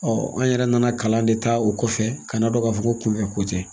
an yɛrɛ nana kalan de ta o kɔfɛ, ka na dɔn ka fɔ ko kun fɛ ko tɛ.